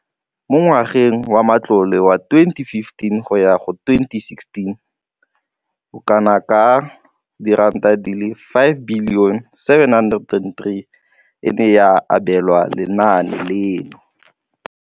Mo ngwageng wa matlole wa 2015 go ya go 2016, bokanaka R5 703 bilione e ne ya abelwa lenaane leno.